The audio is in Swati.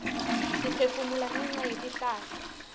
siphefumula ngenca yetihlahla